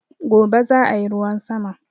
Gobe zaayi ruwan sama